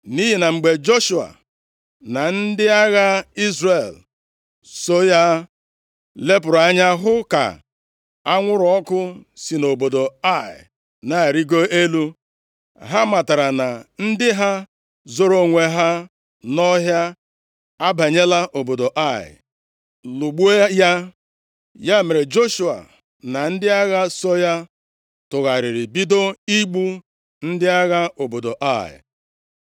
Nʼihi na mgbe Joshua na ndị agha Izrel so ya lepụrụ anya hụ ka anwụrụ ọkụ si nʼobodo Ai na-arịgo elu, ha matara na ndị ha zoro onwe ha nʼọhịa abanyela obodo Ai, lụgbuo ya. Ya mere, Joshua na ndị agha so ya tụgharịrị bido igbu ndị agha obodo Ai.